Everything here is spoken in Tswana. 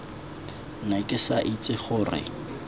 ne ke sa itse gore